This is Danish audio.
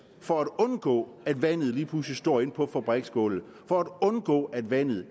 for at undgå at vandet lige pludselig står ind på fabriksgulvet for at undgå at vandet